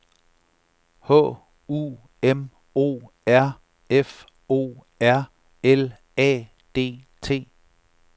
H U M O R F O R L A D T